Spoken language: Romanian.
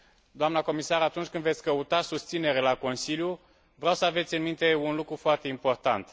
Doamnă comisar, atunci când veți căuta susținere la Consiliu, vreau să aveți în minte un lucru foarte important.